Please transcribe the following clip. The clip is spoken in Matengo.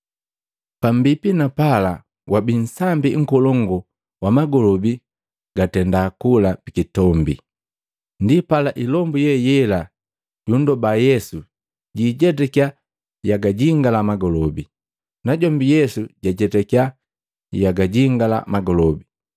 Pambipi na pala wabi nsambi nkolongu wa magolobi gatenda kula pikitombi. Ndipala ilombu ye yela yundoba Yesu jiijetakya yagajingala magolobi, najombi Yesu jajetakiya yagajingala magolobi.